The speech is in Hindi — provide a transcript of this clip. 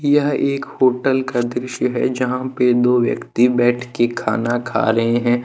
यह एक होटल का दृश्य है जहां पे दो व्यक्ति बैठ के खाना खा रहे हैं।